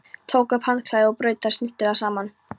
Tók upp handklæðið og braut það snyrtilega saman.